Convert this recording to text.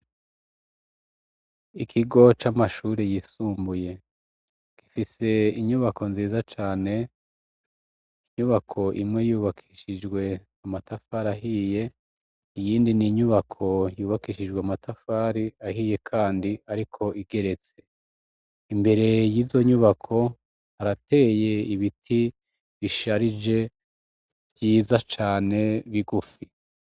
Ikigo c'amashuri yisumbuye gifise inyubako nziza cane, inyubako imwe yubakishijwe amatafari ahiye, iyindi n'inyubako yubakishijwe amatafari ahiye kandi ariko igeretse, imbere y'izo nyubako harateye ibiti bisharije vyiza cane bigufi.